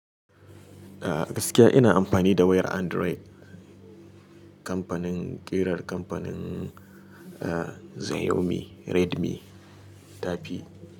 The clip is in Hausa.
Gaskiya ina amfani da wayar Android. Kamfanin ƙirar kamfanin, eh, Xiaomi Redmi ta fi.